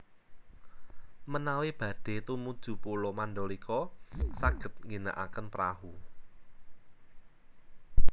Menawi badhe tumuju Pulo Mandalika saged ngginakaken prahu